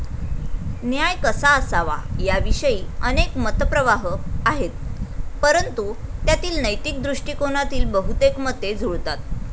न्याय कसा असावा याविषयी अनेक मत प्रवाह आहेत परंतु, त्यातील नैतिक दृष्टिकोनातील बहुतेक मते जुळतात.